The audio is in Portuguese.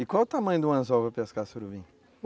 E qual o tamanho do anzol para pescar surubim?